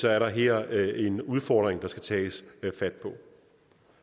er der her en udfordring der skal tages fat på